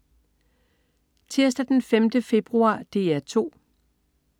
Tirsdag den 5. februar - DR 2: